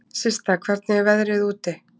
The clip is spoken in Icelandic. Systa, hvernig er veðrið úti?